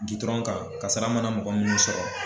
kan kasara mana mɔgɔ minnu sɔrɔ.